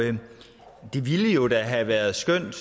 det ville jo da have været skønt